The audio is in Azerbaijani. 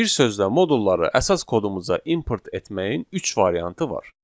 Bir sözlə modulları əsas kodumuza import etməyin üç variantı var.